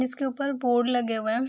इसके ऊपर बोर्ड लगे हुए है।